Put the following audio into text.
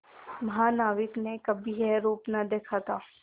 महानाविक ने कभी यह रूप न देखा था